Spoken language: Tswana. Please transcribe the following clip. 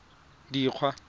dikgwa